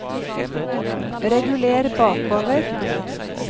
reguler bakover